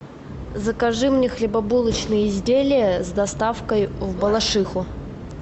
закажи мне хлебобулочные изделия с доставкой в балашиху